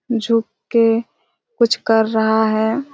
झुक के कुछ कर रहा हैं--